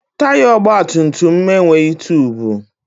Taya ọgbatumtum m enweghị tubu.